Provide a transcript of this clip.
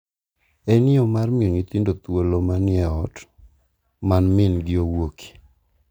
En yo mar miyo nyithindo thuolo ma ni e ot ma min-gi owuokie.